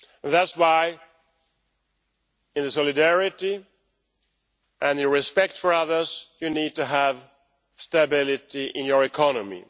That is why, in solidarity and in respect for others, you need to have stability in your economy.